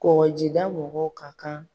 Kɔkɔjida mɔgɔw ka kan